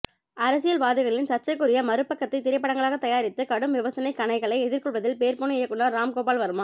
அரசியல்வாதிகளின் சர்ச்சைக்குரிய மறுபக்கத்தை திரைப்படங்களாக தயாரித்து கடும் விமர்சனக் கணைகளை எதிர்கொள்வதில் பேர்போன இயக்குனர் ராம்கோபால் வர்மா